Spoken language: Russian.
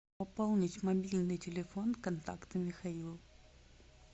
пополнить мобильный телефон контакта михаил